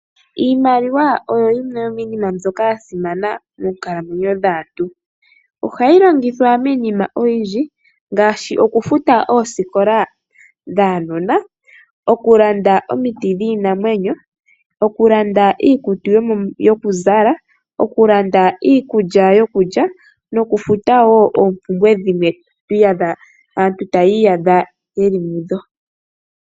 Iimaliwa oyo yimwe yomiinima mbyoka ya simana moonkalamwenyo dhaantu . Ohayi longithwa miinima oyindji ngaashi okufuta oosikola dhaanona , okulanda omiti dhiinamwenyo , oku landa iikutu yoku zala , oku landa iikulya yokulya noku futa woo oompumbwe dhimwe aantu taya iyadha yeli mudho .